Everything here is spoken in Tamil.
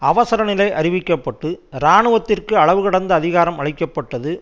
அவசர நிலை அறிவிக்க பட்டு இராணுவத்திற்கு அளவு கடந்த அதிகாரம் அளிக்க பட்டது